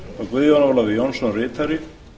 guðjón ólafur jónsson ritari